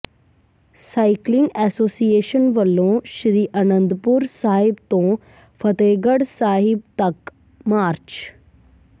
cycling association ਵਲੋਂ ਸ੍ਰੀ ਅਨੰਦਪੁਰ ਸਾਹਿਬ ਤੋਂ ਫ਼ਤਿਹਗੜ੍ਹ ਸਾਹਿਬ ਤੱਕ ਮਾਰਚ